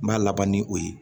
N b'a laban ni o ye